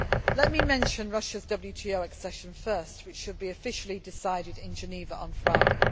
Let me mention Russia's WTO accession first, which should be officially decided in Geneva on Friday.